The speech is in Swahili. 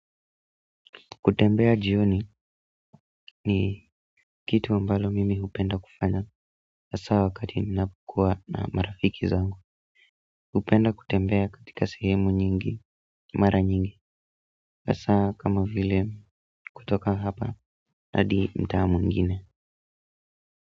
Kutembea jioni ni kitu ambalo mimi hupenda kufanya hasa wakati ninapokuwa na marafiki zangu, hupenda kutembea katika sehemu nyingi, mara nyingi, hasa kama vile kutoka hapa hadi mtaa mwingine.